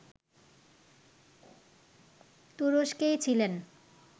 তুরস্কেই ছিলেন